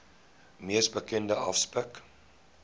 mees bekende aspek